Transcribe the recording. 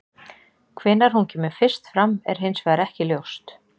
hvenær hún kemur fyrst fram er hins vegar ekki ljóst